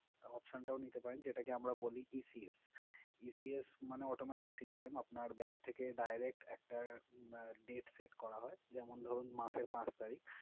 Option টাও নিতে পারেন। যেটাকে আমরা বলি ECSECS মানে automatic system । আপনার bank থেকে direct একটা date set করা হয়। যেমন ধরুন মাসের পাঁচ তারিখ।